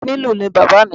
Onílù ni bàbá à mi.